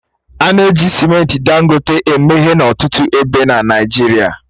A na-eji simenti Dangote eme ihe n'ọtụtụ ebe n'Naịjirịa